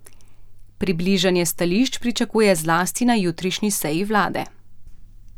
Približanje stališč pričakuje zlasti na jutrišnji seji vlade.